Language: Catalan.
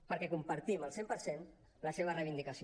perquè compartim al cent per cent la seva reivindicació